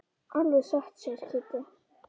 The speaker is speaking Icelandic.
Alveg satt segir Kiddi.